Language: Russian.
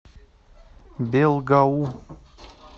белгаум